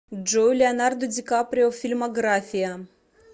джой леонардо ди каприо фильмография